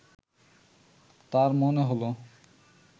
তার মনে হলো